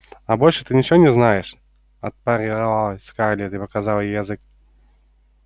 а больше ты ничего не знаешь отпарировала скарлетт и показала ей язык